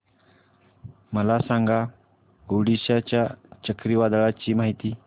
मला सांगा ओडिशा च्या चक्रीवादळाची माहिती